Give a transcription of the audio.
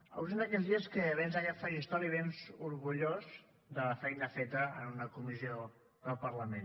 avui és un d’aquells dies que vens a aquest faristol i vens orgullós de la feina feta en una comissió del parlament